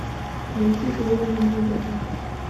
найди бойня на майдане